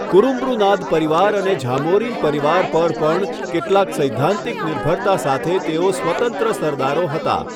કુરુમ્બૃનાદ પરિવાર અને ઝામોરિન પરિવાર પર પણ કેટલાક સૈદ્ધાંતિક નિર્ભરતા સાથે તેઓ સ્વતંત્ર સરદારો હતા.